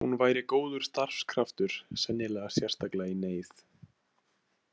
Hún væri góður starfskraftur, sennilega sérstaklega í neyð.